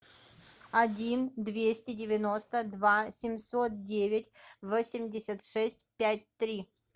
один двести девяносто два семьсот девять восемьдесят шесть пять три